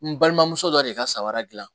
N balimamuso dɔ de ka sawara dilan